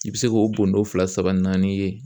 I bɛ se k'o bɔndon fila saba naani ye.